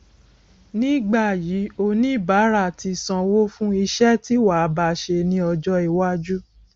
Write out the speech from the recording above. nígbà yìí oníbàárà tí sanwó fún iṣẹ tí wàá ba ṣe ní ọjọ iwájú